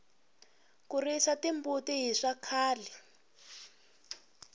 ku risa timbuti hi swa khale